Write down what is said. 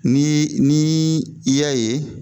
Ni ni i y'a ye.